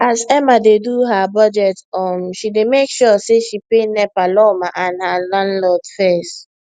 as emma dey do her budget um she dey make sure say she pay nepa lawma and her landlord fess